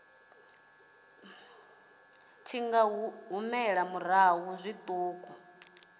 tshi nga humela murahu zwiṱuku